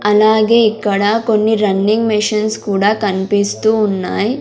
అలాగే ఇక్కడ కొన్ని రన్నింగ్ మిషన్స్ కూడా కన్పిస్తూ ఉన్నాయ్.